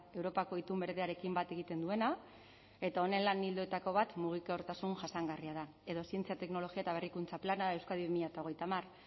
europako itun berdearekin bat egiten duena eta honen lan ildoetako bat mugikortasun jasangarria da edo zientzia teknologia eta berrikuntza plana euskadi bi mila hogeita hamar